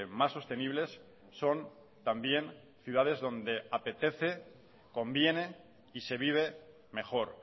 más sostenibles son también ciudades donde apetece conviene y se vive mejor